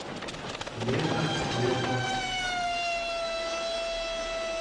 лестер уотфорд